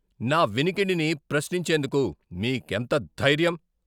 నా వినికిడిని ప్రశ్నించేందుకు మీకెంత ధైర్యం?